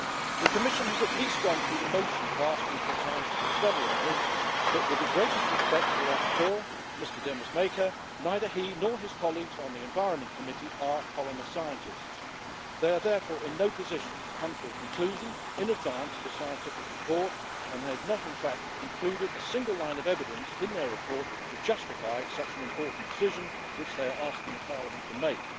The Commission has at least gone through the motions of asking for a scientific study on this but, with the greatest respect to the rapporteur, Mr Demesmaeker, neither he nor his colleagues in the Committee on the Environment, Public Health and Food Safety are polymer scientists. They are therefore in no position to come to a conclusion in advance of a scientific report and they have not, in fact, included a single line of evidence in their report to justify such an important decision which they are asking Parliament to make.